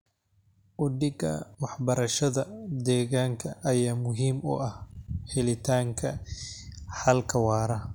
Uhdhigga waxbarashada deegaanka ayaa muhiim u ah helitaanka xalka waara.